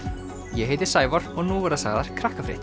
ég heiti Sævar og nú verða sagðar